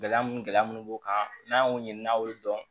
Gɛlɛya mun gɛlɛya mun b'u kan n'an y'o ɲini n'a y'olu dɔn